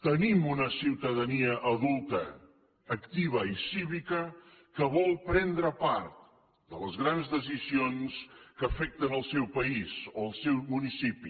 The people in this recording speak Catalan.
tenim una ciutadania adulta activa i cívica que vol prendre part de les grans decisions que afecten el seu país o el seu municipi